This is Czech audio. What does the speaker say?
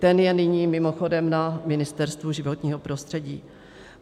Ten je nyní mimochodem na Ministerstvu životního prostředí.